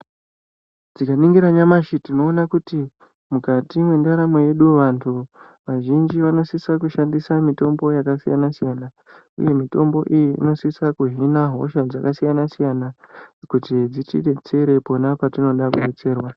Tikaningira nyamashi tinoona kuti mukati mwendaramo yedu vantu vazhinji vanosisa kushandisa mutombo yakasiyana siyana uye mitombo iyi inosisa kuhina hosha dzakasiyana siyana kuti dzitibetsere pona patinoda kubetserwa .